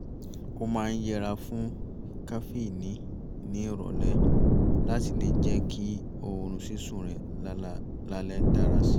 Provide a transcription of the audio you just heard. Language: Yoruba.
ó máa ń yẹra fún kafíìnì ní ìrọ̀lẹ́ láti lè jẹ́ kí oorun sísùn ẹ̀ lálẹ́ dára si